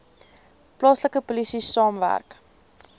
plaaslike polisie saamwerk